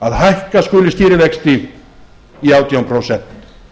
að hækka skuli stýrivexti í átján prósent